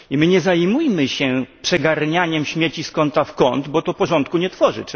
Nie zajmujmy się przeganianiem śmieci z kąta w kąt, bo to porządku nie tworzy.